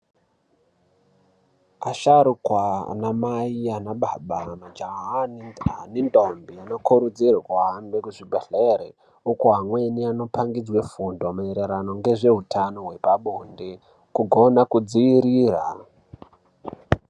Asharukwa ana mai nana baba majaha nendombi anokuridzirwa kuhamba kuzvibhedhlera uko amweni anopangidzwa fundo maererano ngezveutano hwepabonde kugone kudziirira.